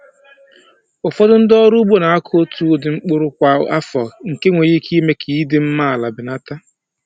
Ụfọdụ ndị ọrụ ugbo na-akọ otu ụdị mkpụrụ kwa afọ, nke nwere ike ime ka ịdị mma ala belata.